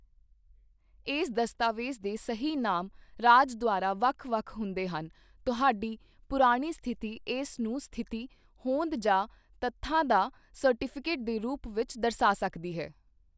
ਇਸ ਦਸਤਾਵੇਜ਼ ਦੇ ਸਹੀ ਨਾਮ ਰਾਜ ਦੁਆਰਾ ਵੱਖ ਵੱਖ ਹੁੰਦੇ ਹਨ ਤੁਹਾਡੀ ਪੁਰਾਣੀ ਸਥਿਤੀ ਇਸ ਨੂੰ ਸਥਿਤੀ, ਹੋਂਦ ਜਾਂ ਤੱਥਾਂ ਦਾ ਸਰਟੀਫਿਕੇਟ ਦੇ ਰੂਪ ਵਿੱਚ ਦਰਸਾ ਸਕਦੀ ਹੈ।